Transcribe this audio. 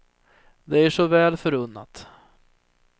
Det är er så väl förunnat.